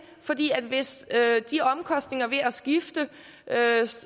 fordi hvis de omkostninger ved at skifte